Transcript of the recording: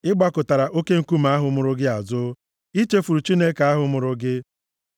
Ị gbakụtara Oke Nkume ahụ mụrụ gị azụ, i chefuru Chineke ahụ mụrụ gị.